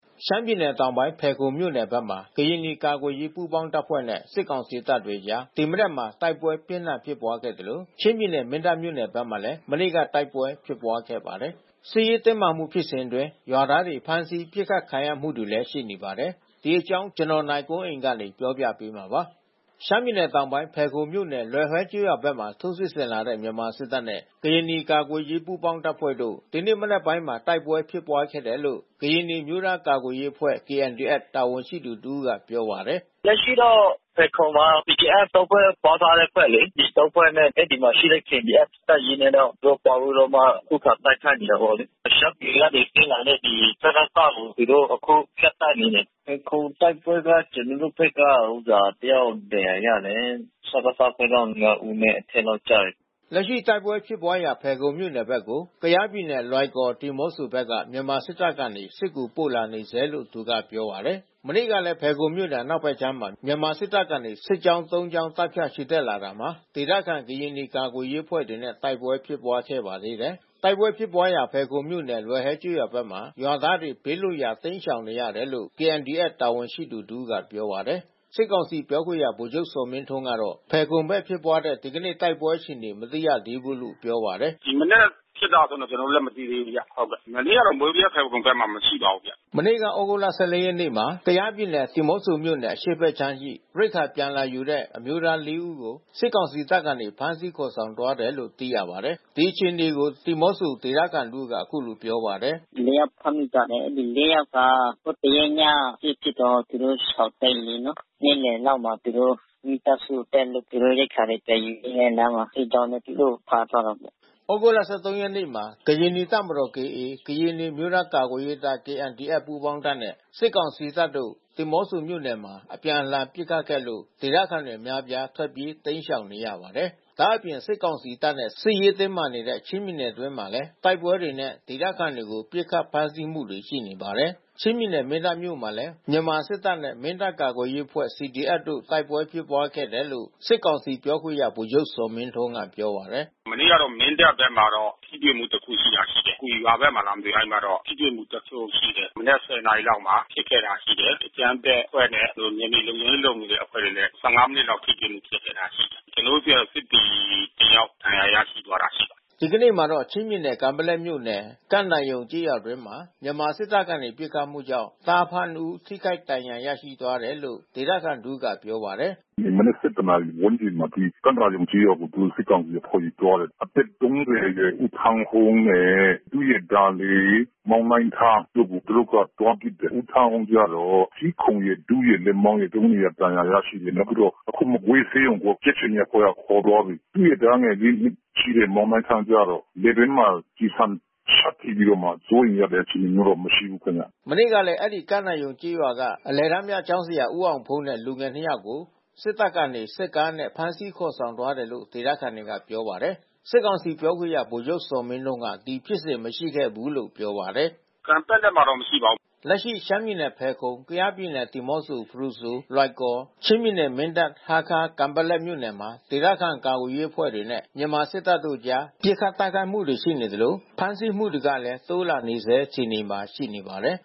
ရှမ်းပြည်နယ်တောင်ပိုင်း ဖယ်ခုံမြို့နယ်ဘက်မှာ ကရင်နီကာကွယ်ရေးပူးပေါင်းတပ်ဖွဲ့နဲ့ စစ်ကောင်စီ တပ်အကြား ဒီမနက်မှာ တိုက်ပွဲပြင်းထန်ဖြစ်ပွါးခဲ့သလို ချင်းပြည်နယ် မင်းတပ် မြို့နယ်ဘက်မှာလည်း မနေ့ကတိုက်ပွဲဖြစ်ပွါးခဲ့ပါတယ်။ စစ်ရေးတင်းမာမှု ဖြစ်စဉ်အတွင်းရွာသားတွေ ဖမ်းဆီး ပစ်ခတ်ခံရမှု တွေလည်း ရှိနေပါတယ်။ ဒီသတင်းကို ဗွီအိုအေမြန်မာပိုင်းသတင်းထောက် နိုင်ကွန်းအိန်က တင်ပြပေးထားပါတယ်။ ရှမ်းပြည်နယ်တောင်ပိုင်း၊ ဖယ်ခုံမြို့နယ် လွယ်ဟွဲကျေးရွာဘက်မှာ ထိုးစစ်ဆင်လာတဲ့မြန်မာစစ်တပ်နဲ့ ကရင်နီကာကွယ်ရေး ပူးပေါင်းတပ်ဖွဲ့တို့ ဒီနေ့မနက်ပိုင်းမှာ တိုက်ပွဲဖြစ်ပွါးခဲ့တယ်လို့ ကရင်နီအမျိုးသား ကာကွယ်ရေးအဖွဲ့ KNDFတာဝန်ရှိသူတဦးက ပြောပါတယ်။ “လက်ရှိတော့ ဖယ်ခုံမှာ PDF (၃) ဖွဲ့ ပေါင်းထားတဲ့အဖွဲ့လေ။ ဒီ (၃) ဖွဲ့နဲ့ အဲဒီမှာရှိတဲ့ KNDF တပ်ရင်းနဲ့ တော့ သူတို့ ပေါင်းပြီးတော့ ခုခံတိုက်ခိုက်နေတာပေါ့လေ။ ရှမ်းပြည်ကနေဆင်းလာတဲ့ စကစ ကို သူတို့ အခုဖြတ်တိုက်နေတယ်။ ဖယ်ခုံတိုက်ပွဲက ကျနော်တို့ဘက်က တယောက်ဒဏ်ရာရတယ်။ စကစ ဘက်က (၅) ဦးနဲ့ အထက်လောက်ကျတယ်။” လက်ရှိတိုက်ပွဲဖြစ်ပွါးရာ ဖယ်ခုံမြို့နယ်ဘက်ကို ကယားပြည်နယ်လွိုင်ကော် ဒီးမော့ဆိုဘက်က မြန်မာ စစ်တပ်ကနေ စစ်ကူပို့လာနေဆဲလို့ သူကပြောပါတယ်။ မနေ့ကလည်း ဖယ်ခုံမြို့နယ်အနောက်ဖက်ခြမ်းမှာ မြန်မာစစ်တပ်ကနေ စစ်ကြောင်း (၃) ကြောင်း တပ်ဖြန့်ချီတက်လာတာမှာ ဒေသခံကရင်နီကာကွယ်ရေးအဖွဲ့တွေနဲ့ တိုက်ပွဲဖြစ်ပွါးခဲ့ပါသေးတယ်။ တိုက်ပွဲဖြစ်ပွါးရာ ဖယ်ခုံမြို့နယ် လွယ်ဟွဲကျေးရွာဘက်မှာ ရွာသားတွေ ဘေးလွတ်ရာရှောင်တိမ်းနေ ရတယ်လို့ KNDF တာဝန်ရှိသူတဦးကပြောပါတယ်။ စစ်ကောင်စီ ပြောခွင့်ရဗိုလ်ချုပ်ဇော်မင်းထွန်းကတော့ ဖယ်ခုံဘက်ဖြစ်ပွါးတဲ့ဒီကနေ့ တိုက်ပွဲ အခြေအနေ မသိသေးဘူးလို့ ပြောပါတယ်။ “ဒီမနက်ဖြစ်တာတွေ ကျနော်တို့လည်း မသိသေးဘူးဗျ။ မနေ့က မိုးဗြဲ၊ ဖယ်ခုံဘက်မှာမရှိပါဘူးဗျ။” မနေ့က သြဂုတ်လ (၁၄) ရက်နေ့မှာ ကယားပြည်နယ် ဒီးမော့ဆိုမြို့နယ် အရှေ့ဘက်ခြမ်းရှိ ရိက္ခာပြန် လာယူတဲ့ အမျိုးသားလေးဦးကို စစ်ကောင်စီတပ်မှ ဖမ်းဆီးခေါ်ဆောင်သွားတယ်လို့ သိရပါတယ်။ ဒီအခြေအနေကို ဒီးမော့ဆိုဒေသခံတဦးက အခုလို ပြောပါတယ်။ “မနေ့ကဖမ်းမိထားတဲ့လူ (၄) ယောက်က ဟိုတရက်ည စစ်ဖြစ်တော့ သူတို့ရှောင်တိမ်းနေရတယ် လေ။ နေ့လယ်လောက်မှာ သူတို့မိသားစုအတွက် သူတို့ရိက္ခာပြန်ယူပြီးတော့လမ်းမှာ စစ်ကြောင်းနဲ့ တိုးတော့ သူတို့ကိုဖမ်းသွားတာပေါ့။” သြဂုတ်လ (၁၃) ရက်နေ့မှာ ကရင်နီတပ်မတော် (KA)၊ ကရင်နီအမျိုးသားကာကွယ်ရေးတပ် (KNDF) ပူးပေါင်းတပ်နဲ့ စစ်ကောင်စီတပ်တို့ ဒီးမော့ဆိုမြို့နယ်မှာ အပြန်အလှန်ပစ်ခတ်ခဲ့လို့ ဒေသခံအများပြား ထွက်ပြေးတိမ်းရှောင်ခဲ့ရပါတယ်။ ဒါ့အပြင်စစ်ကောင်စီတပ်နဲ့ စစ်ရေးတင်းမာနေတဲ့ချင်းပြည်နယ်အတွင်းမှာလည်း တိုက်ပွဲတွေနဲ့ ဒေသခံတွေကို ပစ်ခတ်ဖမ်းဆီးမှုတွေ ရှိနေပါတယ်။ ချင်းပြည်နယ် မင်းတပ်မြို့နယ်မှာလည်း မနေ့မနက်ပိုင်းမှာ မြန်မာစစ်တပ်နဲ့ မင်းတပ်ကာကွယ်ရေးအဖွဲ့ CDF တို့ တိုက်ပွဲဖြစ်ပွါးခဲ့တယ်လို့ စစ်ကောင်စီ ပြောခွင့်ရ ဗိုလ်ချုပ်ဇော်မင်းထွန်းက ပြောပါတယ်။ “မနေ့ကတော့ မင်းတပ်ဘက်မှာတော့ ထိတွေ့မှုတခုဖြစ်တာရှိတယ်။ ကွီရွာဘက်မှာလားမသိ။ အဲဒီမှာတော့ ထိတွေ့မှု တခုရှိတယ်။ မနက် (၁၀) နာရီလောက်မှာဖြစ်ခဲ့တာရှိတယ်။ အကြမ်းဖက်အဖွဲ့နဲ့ ကျနော်တို့နယ်မြေလုံခြုံရေးလုပ်နေတဲ့ အဖွဲ့တွေနဲ့ (၁၅) မိနစ်လောက် ထိတွေ့မှုဖြစ်ခဲ့တာရှိတယ်။ ကျနော်တို့ဆီက စစ်သည်တယောက် ဒဏ်ရာရရှိသွားတာရှိပါတယ်။” ဒီကနေ့မှာတော့ ချင်းပြည်နယ် ကန်ပက်လက်မြို့နယ် ကန့်သာရုံကျေးရွာအတွင်း မြန်မာစစ်တပ်ကနေ ပစ်ခတ်မှုကြောင့် သားအဖနှစ်ဦး ထိခိုက်ဒဏ်ရာရရှိသွားတယ်လို့ ဒေသခံတဦးကပြောပါတယ်။ “ဒီမနက် (၁၁) ဝန်းကျင်မှာ ကန့်သာရုံကျေးရွာကို စစ်ကောင်စီအဖွဲ့တွေသွားတယ်။ အသက် (၃၀) အရွယ်ဦးထန်းဟုန်းနဲ့ သူရဲ့ သားလေး မောင်နိုင်းထားတို့ကို သူတို့ကသွားပစ်တယ်။ ဦးထန်းဟုန်း ကတော့ ဆီးခုံရယ်၊ ဒူးရယ်၊ လက်မောင်းရယ် ဒဏ်ရာ ရရှိတယ်။ နောက်ပြီးတော့ အခုမကွေးဆေးရုံကို ကြက်ခြေနီအဖွဲ့တွေကခေါ်သွားပြီ။ သူ့ရဲ့သားငယ် (၄) နှစ်ရှိ မောင်နိုင်းထားကျတော့ လည်ပင်းမှာ ကျည်ဆံရှပ်ထပြီးတော့မှ စိုးရိမ်ရတဲ့အခြေအနေမရှိဘူးခင်ဗျ။” မနေ့ကလည်း အဲဒီ ကန့်သာရုံကျေးရွာက အလယ်တန်းပြကျောင်းဆရာဦးအောင်ဖုန်းနဲ့ လူငယ် နှစ်ယောက်ကို စစ်တပ်က စစ်ကားနဲ့ ဖမ်းဆီးခေါ်ဆောင်သွားတယ်လို့ ဒေသခံတွေကပြောပါတယ်။ စစ်ကောင်စီပြောခွင့်ရ ဗိုလ်ချုပ်ဇော်မင်းထွန်းက ဒီဖြစ်စဉ်မရှိခဲ့ဘူးလို့ ပြောပါတယ်။ “ကန်ပက်လက်မှာတော့မရှိပါဘူး။ ” လက်ရှိရှမ်းပြည်နယ်ဖယ်ခုံ ကယားပြည်နယ်ဒီးမော့ဆို ဖရူဆို၊ လွိုင်ကော်၊ ချင်းပြည်နယ် မင်းတပ်၊ ဟားခါး၊ ကန်ပက်လက်မြို့ နယ်မှာ ဒေသခံကာကွယ်ရေးအဖွဲ့တွေနဲ့ မြန်မာစစ်တပ်တို့အကြား ပစ်ခတ် တိုက်ခိုက်မှုတွေရှိနေသလို ဖမ်းဆီးမှုတွေကလဲ တိုးလာနေဆဲအခြေအနေမှာရှိနေပါတယ်